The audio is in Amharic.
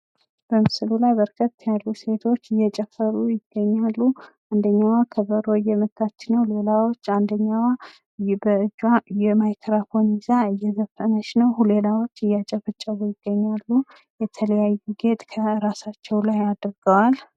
ሙዚቃ የፈጠራ ችሎታን የሚያበረታታና አዳዲስ ሀሳቦች እንዲፈጠሩ የሚያነሳሳ ጥበባዊ እንቅስቃሴ በመሆን ለግል እድገት አስተዋፅኦ ያደርጋል።